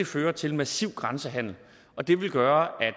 føre til massiv grænsehandel og det vil gøre at